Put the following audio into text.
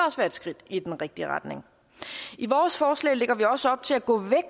også være et skridt i den rigtige retning i vores forslag lægger vi også op til at gå